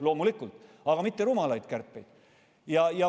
Loomulikult esitasime, aga mitte rumalaid kärpeid.